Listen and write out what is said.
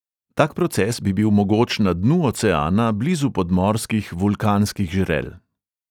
Tak proces bi bil mogoč na dnu oceana blizu podmorskih vulkanskih žrel.